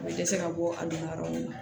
Ne dɛsɛra bɔ a nana yɔrɔ min na